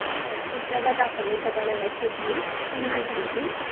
हो teacher ला दाखव हे सगळ वेवस्थित छान पेकी